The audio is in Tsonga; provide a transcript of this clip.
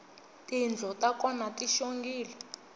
tindlo ta kona ti xongile